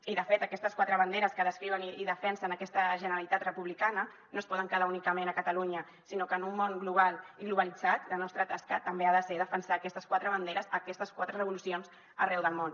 i de fet aquestes quatre banderes que descriuen i defensen aquesta generalitat republicana no es poden quedar únicament a catalunya sinó que en un món global i globalitzat la nostra tasca també ha de ser defensar aquestes quatre banderes aquestes quatre revolucions arreu del món